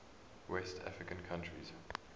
west african countries